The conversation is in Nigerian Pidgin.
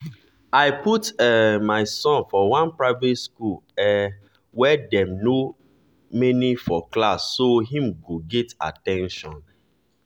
i put um my son for one priate school um wey dem no many for class so him go get at ten tion